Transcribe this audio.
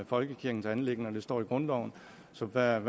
folkekirkens anliggender det står i grundloven så hvad